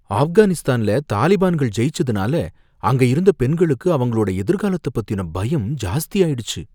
ஆப்கானிஸ்தான்ல தலிபான்கள் ஜெயிச்சதுனால அங்க இருந்த பெண்களுக்கு அவங்களோட எதிர்கலத்த பத்தின பயம் ஜாஸ்தியாயிடுச்சு